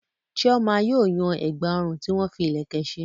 Chioma yóò yan ẹ̀gbà ọrùn tí wọ́n fi ìlẹ̀kẹ̀ ṣe.